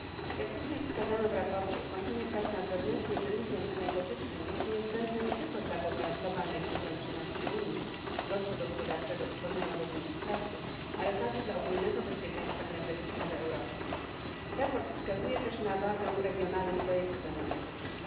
Jak słusznie wskazano w sprawozdaniu, ukończenie prac nad wewnętrznym rynkiem energetycznym jest niezbędne nie tylko dla globalnej konkurencyjności Unii, wzrostu gospodarczego i tworzenia nowych miejsc pracy, ale także dla ogólnego bezpieczeństwa energetycznego Europy. Sprawozdanie wskazuje też na wagę regionalnych projektów energetycznych.